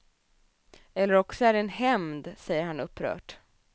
Eller också är det en hämnd, säger han upprört.